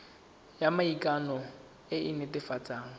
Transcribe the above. ya maikano e e netefatsang